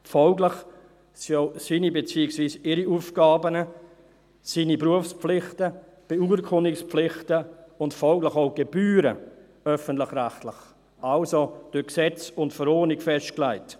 Folglich sind auch seine beziehungsweise ihre Aufgaben, seine/ihre Berufspflichten, Beurkundungspflichten und folglich auch die Gebühren öffentlich-rechtlich, also durch Gesetz und Verordnung festgelegt.